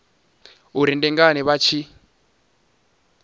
uri ndi ngani vha tshi